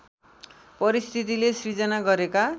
परिस्थितिले सिर्जना गरेका